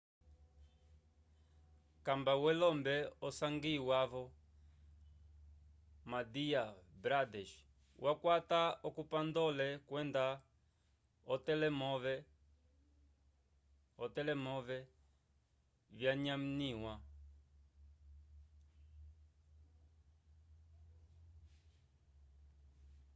kamba welombe osangiwa vo madhya pradesh wakwata okomputandole kwenda otelemove vyanyaniwa